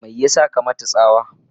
me yasa ka mata tsawa?